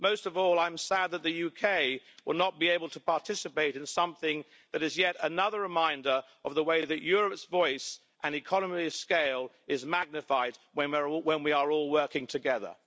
Most of all, I'm sad that the UK will not be able to participate in something that is yet another reminder of the way that Europe's voice and economy of scale is magnified when we are all working together.